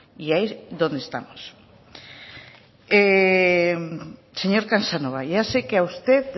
y ahí es donde estamos señor casanova ya sé que a usted